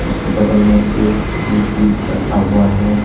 बगल में एक फ्रिज भी रखा हुआ है।